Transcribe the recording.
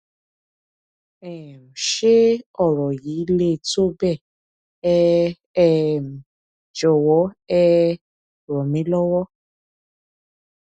um ṣé ọ̀rọ̀ yìí le tó bẹ́ẹ̀ ẹ um jọwọ ẹ ràn mí lọ́wọ́